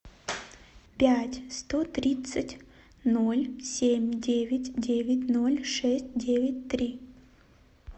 пять сто тридцать ноль семь девять девять ноль шесть девять три